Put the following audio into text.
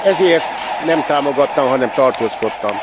Ezért nem támogattam, hanem tartózkodtam.